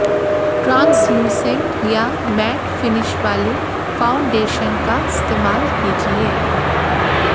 translucent या matte finish वाले foundation का इस्तेमाल कीजिए